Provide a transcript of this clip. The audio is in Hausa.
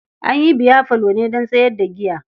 An yi biyafalo ne don sayar da giya.